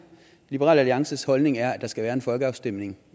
liberal alliances holdning er at der skal være en folkeafstemning